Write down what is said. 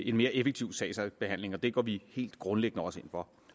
en mere effektiv sagsbehandling og det går vi helt grundlæggende også ind for